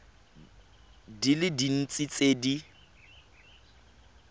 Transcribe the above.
di le dintsi tse di